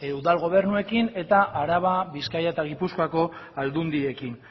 udal gobernuekin eta araba bizkaia eta gipuzkoako aldundiekin